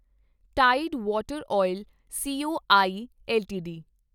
tide Water Oil CO I LTD